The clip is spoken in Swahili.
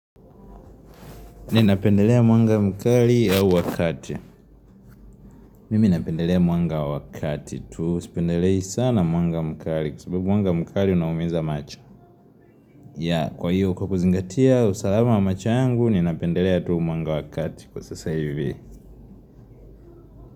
Ninapendelea mwanga mkali ya wa kati. Mimi napendelea mwanga wa kati tu. Sipendelei sana mwanga mkali kwa sababu mwanga mkali unaumiza macho. Yea kwa hiyo kwa kuzingatia usalama wa macho yangu. Ninapendelea tu mwanga wa kati kwa sasa hivi.